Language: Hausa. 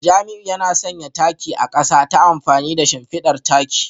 Jamiu yana sanya takin a kasa ta amfani da shimfidar taki